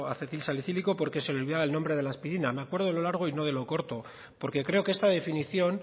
acetilsalicílico porque se olvidaba el nombre de la aspirina me acuerdo de lo largo y no de lo corto porque creo que esta definición